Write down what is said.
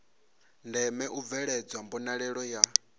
ndeme u bveledzwa mbonalelo ya